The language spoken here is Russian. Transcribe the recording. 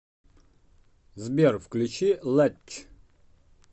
сбер включи лэтч